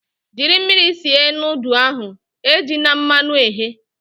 Jiri mmiri sie nudụ ahu, ejina mmanụ ghe!